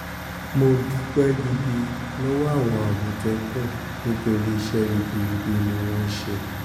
mo dúpẹ́ gidi lọ́wọ́ àwọn àmọ̀tẹ́kùn nítorí iṣẹ́ ribiribi ni wọ́n ṣe wọ́n ṣe